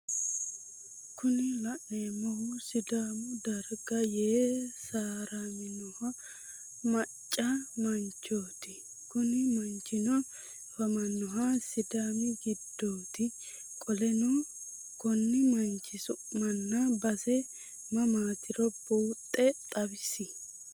Kuni laneemohu sidaamu dagara yee saharamino macca manchooti Kuni manchino afamannoha sidami gidooti qoleno Konni manchi summana base mamaatiro buuxxe xawisi?